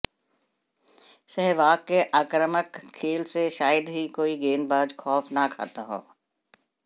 सहवाग के आक्रामक खेल से शायद ही कोई गेंदबाज खौफ न खाता हो